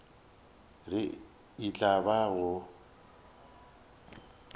re e tla ba go